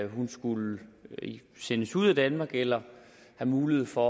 hun skulle sendes ud af danmark eller have mulighed for